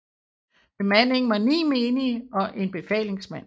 Bemandingen var 9 menige og en befalingsmand